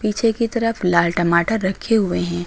पीछे की तरफ लाल टमाटर रखी हुए हैं।